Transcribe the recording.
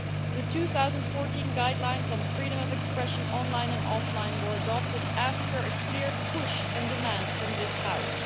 The 2014 guidelines on freedom of expression online and offline were adopted after a clear push and demand from this House.